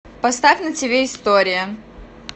поставь на тв история